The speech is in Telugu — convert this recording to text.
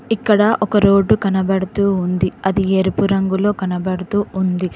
ఇక్కడ ఒక రోడ్డు కనబడుతూ ఉంది అది ఎరుపు రంగులో కనబడుతూ ఉంది.